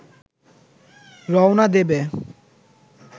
রওনা দেবে